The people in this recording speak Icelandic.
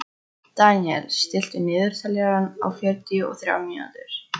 Deníel, stilltu niðurteljara á fjörutíu og þrjár mínútur.